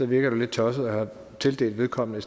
virker det lidt tosset at have tildelt vedkommende